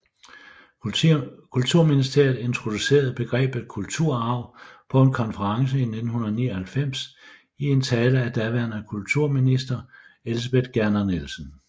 Kulturministeriet introducerede begrebet kulturarv på en konference i 1999 i en tale af daværende kulturminister Elsebeth Gerner Nielsen